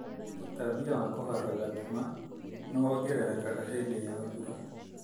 ũtambia wa kũharwo gatema nĩ wongerekaga hĩndĩ ya mbura.